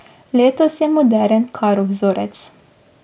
Letos je moderen karo vzorec.